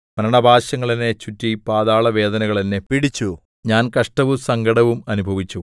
മരണപാശങ്ങൾ എന്നെ ചുറ്റി പാതാള വേദനകൾ എന്നെ പിടിച്ചു ഞാൻ കഷ്ടവും സങ്കടവും അനുഭവിച്ചു